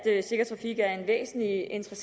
en